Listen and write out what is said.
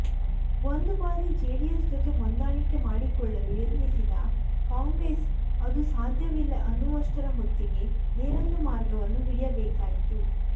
ಒಂದು ಬಾರಿ ಜೆಡಿಯೆಸ್ ಜೊತೆ ಹೊಂದಾಣಿಕೆ ಮಾಡಿಕೊಳ್ಳಲು ಯತ್ನಿಸಿದ ಕಾಂಗ್ರೆಸ್ ಅದು ಸಾಧ್ಯವಿಲ್ಲ ಅನ್ನುವಷ್ಟರ ಹೊತ್ತಿಗೆ ಬೇರೊಂದು ಮಾರ್ಗವನ್ನು ಹಿಡಿಯಬೇಕಾಯಿತು